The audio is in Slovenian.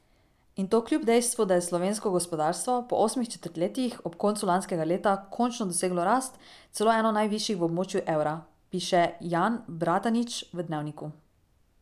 In to kljub dejstvu, da je slovensko gospodarstvo po osmih četrtletjih ob koncu lanskega leta končno doseglo rast, celo eno najvišjih v območju evra, piše Jan Bratanič v Dnevniku.